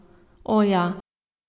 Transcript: O, ja.